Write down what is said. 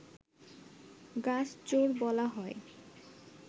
গাছ চোর বলা হয়